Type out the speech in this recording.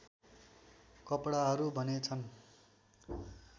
कपडाहरू भने छन्